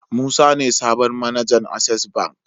Musa ne sabon mAnajan access bank